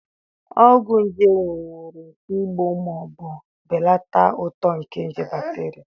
Ọgwụ nje nwere ike igbu ma ọ bụ belata uto nke nje bakterịa.